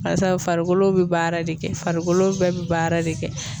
Barisa farikolo be baara de kɛ farikolo bɛɛ be baara de kɛ.